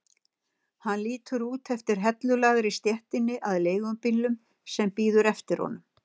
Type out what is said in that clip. Hann lítur út eftir hellulagðri stéttinni að leigubílnum sem bíður eftir honum.